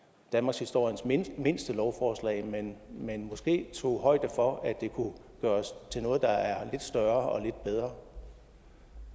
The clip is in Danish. danmarkshistoriens mindste mindste lovforslag men måske tog højde for at det kunne gøres til noget der er lidt større og lidt bedre